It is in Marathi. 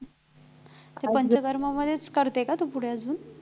पंचकर्मामध्येच करते का तू पुढे अजून